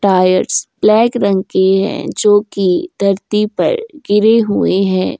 Tyres black रंग की है जो की धरती पर गिरे हुए हैं।